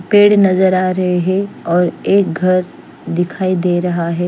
पेड़ नज़र आ रहे है और एक घर दिखाई दे रहा है।